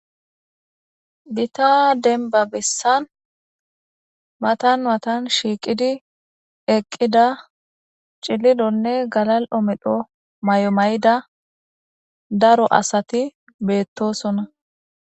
Giita demba bessan matan matan shiiqqidi eeqida cillillonne gallalli'o medho mayo mayida daro asati bettossonna